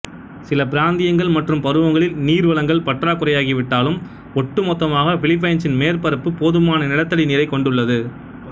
சில பிராந்தியங்கள் மற்றும் பருவங்களில் நீர் வளங்கள் பற்றாக்குறையாகிவிட்டாலும் ஒட்டுமொத்தமாக பிலிப்பைன்சின் மேற்பரப்பு போதுமான நிலத்தடி நீரைக் கொண்டுள்ளது